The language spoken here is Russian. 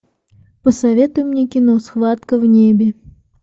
посоветуй мне кино схватка в небе